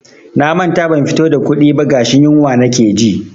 Na manta ban fito da kuɗi ba gashi yunwa nake ji.